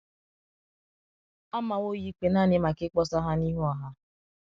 A mawo ya ikpe nanị maka ịkpọsa ha n’ihu ọha.